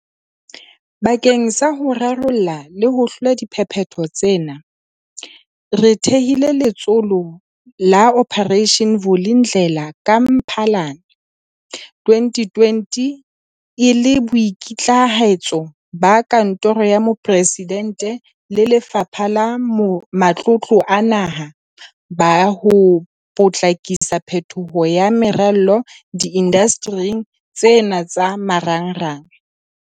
Bakeng sa ho rarolla le ho hlola diphephetso tsena, re thehile Letsholo la Operation Vulindlela ka Mphalane 2020 e le boikitlahetso ba Kantoro ya Moporesidente le Lefapha la Matlotlo a Naha ba ho potlakisa phetoho ya meralo diindastering tsena tsa marangrang.